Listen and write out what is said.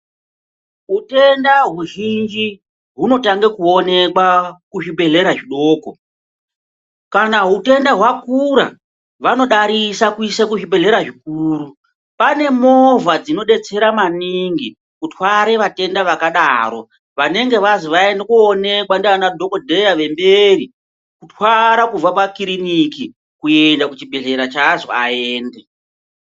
Utenda huzhinji hunotange kuonekwa kuzvibhedhlera zvidoko. Kana hutenda hwakura, vanodarisa kuise kuzvibhedhlera zvikuru. Pane movha dzinodetsera maningi kutware vatenda vakadaro vanenge vazi vaende kundoonekwa ngaanadhokodheya vemberi kubva pakirinika kusvika pachibhedhlera chaanzi aende.